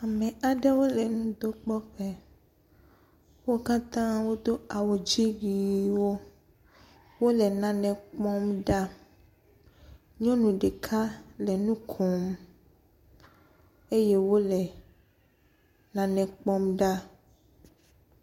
Ame aɖewo le nudokpɔƒe wo katã wodo awu dzi ʋiwo. Wole nane kpɔm ɖa. Nyɔnu ɖeka le nu kom eye wole nane kpɔm ɖa.